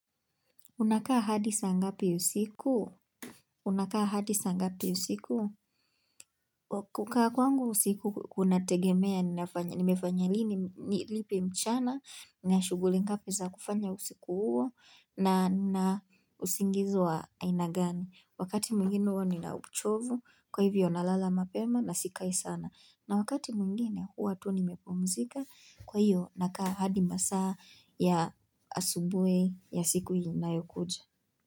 Unakaa hadi saa ngapi usiku? Unakaa hadisa ngapi yusiku? Kukaa kwangu usiku kunategemea nimefanya lipi mchana nina shughuli ngapi za kufanya usiku huo na usingizi wa aina gani. Wakati mwingine hua nina uchovu kwa hivyo na lala mapema na sikai sana na wakati mwingine hua tu nimepumzika kwa hivyo nakaa hadi masaa ya asubuhi ya siku inayokuja.